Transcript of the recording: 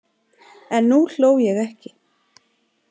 En nú hló ég ekki.